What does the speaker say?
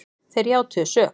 Þeir játuðu sök